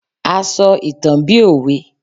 a sọ ìtàn bi òwe